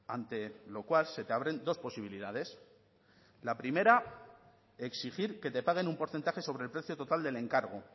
ante lo cual se te abren dos posibilidades la primera exigir que te paguen un porcentaje sobre el precio total del encargo